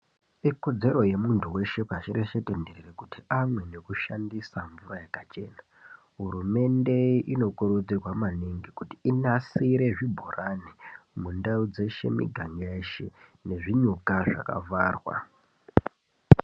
Ikodzero yemuntu weshe pashi reshe kuti antu amweni nekushandisa mvura yakachena Hurumende inokurudzirwa maningi kuti inasire zvibhorani mundau dzeshe muganga yeshe nezvinyuka zvakavharwa.